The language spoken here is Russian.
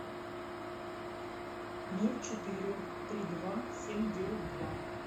ноль четыре три два семь девять два